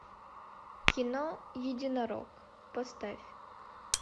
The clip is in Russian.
кино единорог поставь